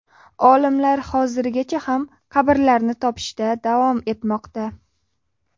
Olimlar hozirgacha ham qabrlarni topishda davom etmoqda.